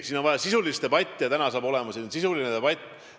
Siin on vaja sisulist debatti ja täna saab olema sisuline debatt.